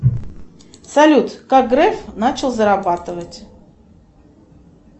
салют как греф начал зарабатывать